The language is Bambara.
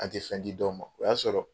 An tɛ fɛn di dɔw ma o y'a sɔrɔ